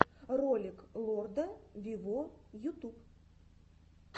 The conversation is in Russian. ролик лорда виво ютуб